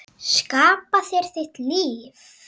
Skapa þér þitt líf.